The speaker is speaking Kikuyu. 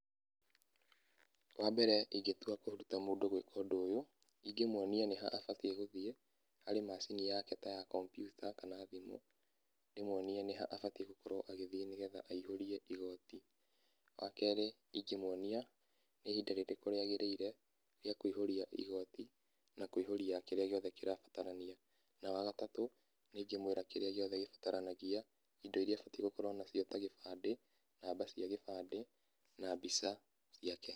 Wa mbere ingĩtua kũruta mũndũ gwĩka ũndũ ũyũ, ingĩmuonia nĩ ha abatie gũthiĩ harĩ macini yake ta ya computer kana thimũ. Ndĩmuonie nĩha abatie gũkorwo agĩthiĩ nĩgetha aihũrie igoti. Wa kerĩ ĩngĩmuonia nĩ ihinda rĩrĩkũ rĩagĩrĩire rĩa kũihũria igoti, na kũihũria kĩrĩa gĩothe kĩrabatarania. Na wagatatũ, nĩingĩmwĩra kĩrĩa gĩothe gĩbataranagia. Indo iria abatie gũkorwo nacio ta gĩbandĩ, namba cia gĩbandĩ, na mbica ciake